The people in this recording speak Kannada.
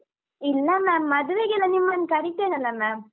ಇಲ್ಲ ma’am ಮದ್ವೆಗೆಲ್ಲ ನಿಮ್ಮನ್ ಕರಿತೇನಲ್ಲ ma’am .